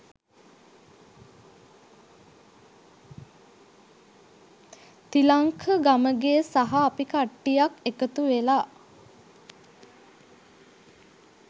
තිලංක ගමගේ සහ අපි කට්ටියක් එකතු වෙලා